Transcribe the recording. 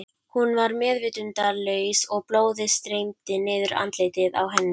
Hún var meðvitundarlaus og blóðið streymdi niður andlitið á henni.